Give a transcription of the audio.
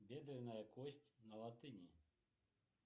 бедренная кость на латыни